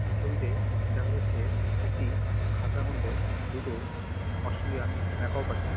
এই ছবিতে দেখা যাচ্ছে একটি খাঁচার মধ্যে দুটো অস্ট্রেলিয়ান ম্যাকাও পাখি।